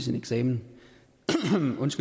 jensen